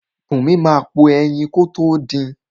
Bùnmi máa po ẹyin kótó din.